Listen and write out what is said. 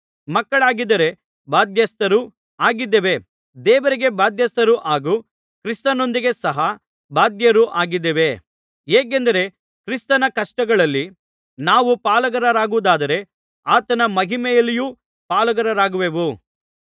ಮಕ್ಕಳಾಗಿದ್ದರೆ ಬಾಧ್ಯಸ್ಥರೂ ಆಗಿದ್ದೇವೆ ದೇವರಿಗೆ ಬಾಧ್ಯಸ್ಥರೂ ಹಾಗೂ ಕ್ರಿಸ್ತನೊಂದಿಗೆ ಸಹಾ ಬಾಧ್ಯರು ಆಗಿದ್ದೇವೆ ಹೇಗೆಂದರೆ ಕ್ರಿಸ್ತನ ಕಷ್ಟಗಳಲ್ಲಿ ನಾವು ಪಾಲುಗಾರರಾಗುವುದಾದರೆ ಆತನ ಮಹಿಮೆಯಲ್ಲಿಯೂ ಪಾಲುಗಾರರಾಗುವೆವು